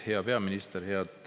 Hea peaminister!